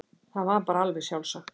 Það var bara alveg sjálfsagt.